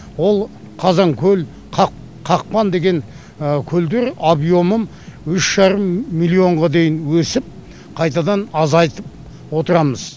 ол қазан көл қақпан деген көлдер объемын үш жарым миллионға дейін өсіп қайтадан азайтып отырамыз